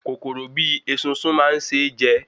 Kòkòrò bíi esunsun máa n se jẹ